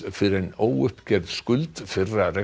fyrr en óuppgerð skuld fyrri